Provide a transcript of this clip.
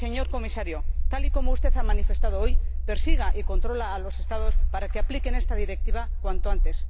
Y, señor Comisario, tal y como usted ha manifestado hoy, persiga y controle a los Estados para que apliquen esta Directiva cuanto antes.